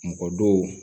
Mɔgɔ dɔw